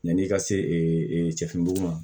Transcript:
Yan'i ka sefini ma